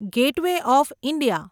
gateway of India